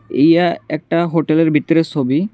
ইয়া একটা হোটেল -এর বিতরের সবি।